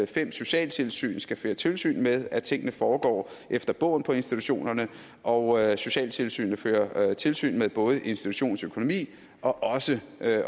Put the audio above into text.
fem socialtilsyn skal føre tilsyn med at tingene foregår efter bogen på institutionerne og at socialtilsynet fører tilsyn med både institutionens økonomi og også